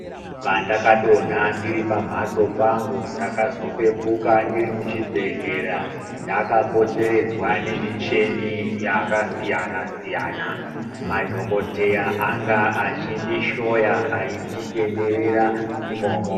Pandakadonha ndiri pamhatso pangu ndakazopepuka ndiri muchibhedhlera, ndakapoteredzwa nemicheni yakasiyana-siyana. Madhokodheya anga achindishoya aichitenderera imomo.